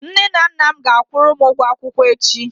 Nne na nna m ga-akwụ m ụgwọ akwụkwọ echi.